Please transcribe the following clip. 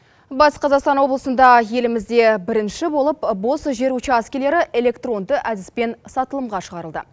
батыс қазақстан облысында елімізде бірінші болып бос жер учаскілері электронды әдіспен сатылымға шығарылды